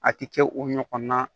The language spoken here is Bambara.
A ti kɛ o ɲɔgɔnna